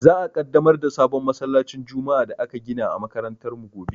Za a Ƙaddamar da sabon masallacin juma'a da aka gina a makarantar mu gobe.